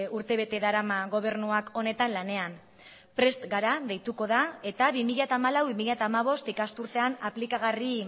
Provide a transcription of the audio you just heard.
urtebete darama gobernuak honetan lanean prest gara deituko da eta bi mila hamalau bi mila hamabost ikasturtean aplikagarri